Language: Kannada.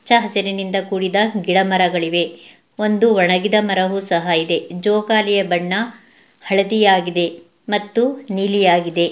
ಹಚ್ಚ ಹಸಿರಿನಿಂದ ಕೂಡಿದ ಗಿಡಮರಗಳಿವೆ ಇದೆ ಒಂದು ಒಣಗಿದ ಮರವು ಸಹ ಇದೆ ಜೋಕಾಲಿಯ ಬಣ್ಣ ಹಳದಿ ಮತ್ತು ನೀಲಿ ಆಗಿದೆ .